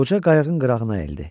Qoca qayığın qırağına əyildi.